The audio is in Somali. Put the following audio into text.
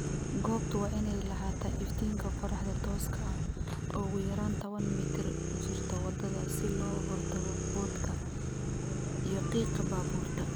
Goobtu waa inay lahaataa iftiinka qorraxda tooska ah oo ugu yaraan tawan mitir u jirta waddada si looga hortago boodhka iyo qiiqa baabuurta.